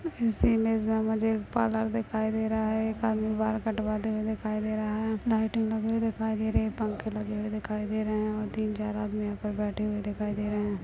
इस इमेज मे मुझे एक पार्लर दिखाई दे रहा है एक आदमी बाल कटवाते हुए दिखाई दे रहा है लाईटिंग लगी हुई दिखाई दे रही है पंख लगे हुए दिखाई दे रहे है और तीन चार आदमी यह पर बैठे हुए दिखाई दे रहे है।